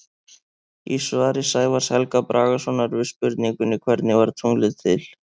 Í svari Sævars Helga Bragasonar við spurningunni Hvernig varð tunglið til?